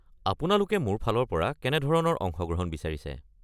আপোনালোকে মোৰ ফালৰ পৰা কেনেধৰণৰ অংশগ্ৰহণ বিচাৰিছে?